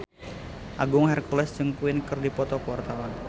Agung Hercules jeung Queen keur dipoto ku wartawan